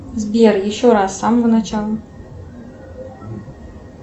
сбер еще раз с самого начала